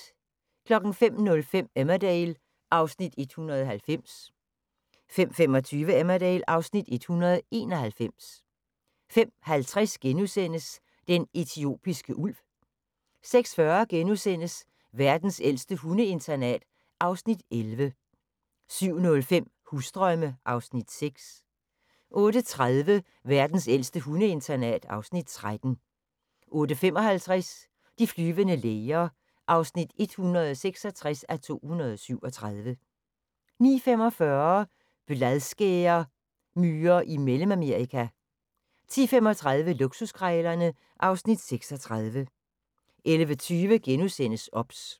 05:05: Emmerdale (Afs. 190) 05:25: Emmerdale (Afs. 191) 05:50: Den etiopiske ulv * 06:40: Verdens ældste hundeinternat (Afs. 11)* 07:05: Husdrømme (Afs. 6) 08:30: Verdens ældste hundeinternat (Afs. 13) 08:55: De flyvende læger (166:237) 09:45: Bladskæremyrer i Mellemamerika 10:35: Luksuskrejlerne (Afs. 36) 11:20: OBS *